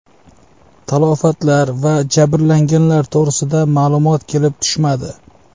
Talafotlar va jabrlanganlar to‘g‘risida ma’lumot kelib tushmadi.